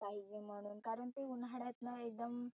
पाहीजे म्हणुन. कारण की ते उन्हाळ्यात ना एकदम